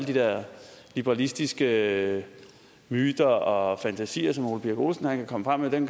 de der liberalistiske myter og fantasier som herre ole birk olesen kan komme frem med kan